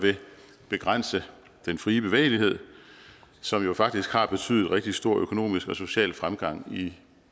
begrænse den fri bevægelighed som jo faktisk har betydet rigtig stor økonomisk og social fremgang i